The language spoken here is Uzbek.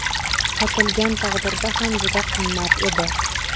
Sotilgan taqdirda ham juda qimmat edi.